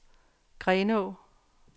Grenå